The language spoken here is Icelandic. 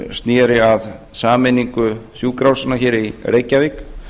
sneri að sameiningu sjúkrahúsanna hér í reykjavík